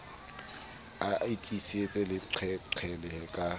a tiise le qhelele ka